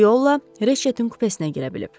Bu yolla Reçetin kupesinə girə bilib.